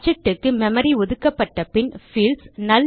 object க்கு memory ஒதுக்கப்பட்ட பின் பீல்ட்ஸ்